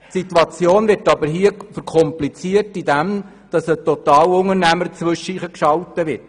Die Situation wird aber dadurch kompliziert, dass ein Totalunternehmer dazwischengeschaltet wird.